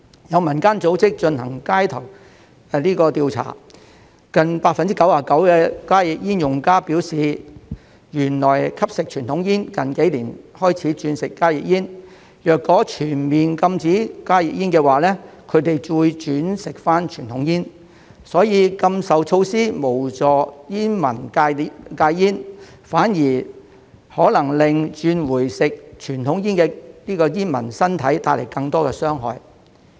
有民間組織進行街頭調查，近 99% 的加熱煙用家表示原來吸食傳統煙，近幾年才轉吸加熱煙，若全面禁止加熱煙，他們會轉回吸傳統煙，所以禁售措施無助煙民戒煙，反而可能對轉回吸傳統煙的煙民的身體帶來更多傷害。